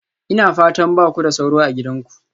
Ina fatan ba ku da sauro a gidanku?